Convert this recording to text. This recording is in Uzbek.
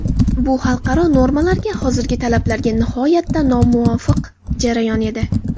Bu xalqaro normalarga, hozirgi talablarga nihoyatda nomuvofiq jarayon edi.